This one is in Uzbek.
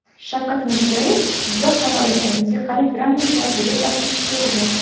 Shavkat Mirziyoyev Jizzax viloyati musiqali drama teatriga tashrif buyurdi.